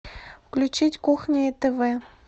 включить кухня тв